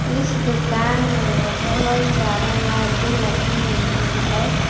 इस दुकान में बहोत सारा लाइटे लगी हुई है।